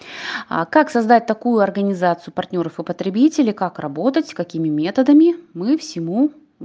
а как создать такую организацию партнёров и потребителей как работать с какими методами мы всему